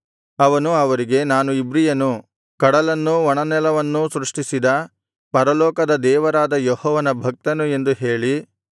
ಅವನು ಅವರಿಗೆ ನಾನು ಇಬ್ರಿಯನು ಕಡಲನ್ನೂ ಒಣನೆಲವನ್ನೂ ಸೃಷ್ಟಿಸಿದ ಪರಲೋಕದ ದೇವರಾದ ಯೆಹೋವನ ಭಕ್ತನು ಎಂದು ಹೇಳಿ